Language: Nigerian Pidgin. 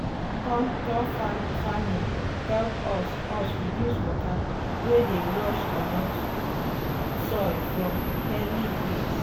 contour farming help us us reduce water wey dey rush comot um soil from hilly place. um